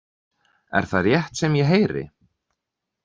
Er það rétt sem ég heyri?